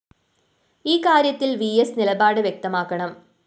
ഈ കാര്യത്തിൽ വിഎസ് നിലപാട് വ്യക്തമാക്കണം